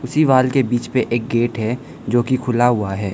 दीवाल के बीच पे एक गेट है जोकि खुला हुआ है।